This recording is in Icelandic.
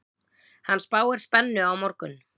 Hann spáir spennu á morgun.